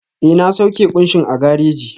Ee, na sauke kunshin a gareji